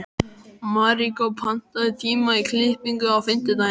Maríkó, pantaðu tíma í klippingu á fimmtudaginn.